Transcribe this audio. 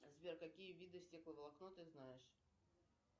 сбер какие виды стекловолокно ты знаешь